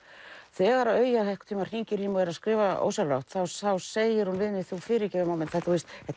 þegar að Auja einhvern tímann hringir í mig og er að skrifa ósjálfrátt þá segir hún við mig þú fyrirgefur mamma mín þetta